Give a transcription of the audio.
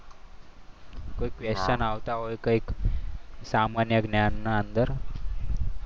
કોઈ question આવતા હોય કંઈક સામાન્ય જ્ઞાનના અંદર.